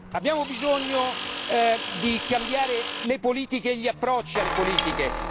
Abbiamo bisogno di cambiare le politiche e gli approcci alle politiche.